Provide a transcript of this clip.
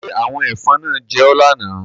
Ṣé àwọn ẹ̀fọn náà gé ọ lánàá?